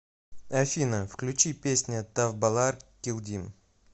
афина включи песня тавбалар килдим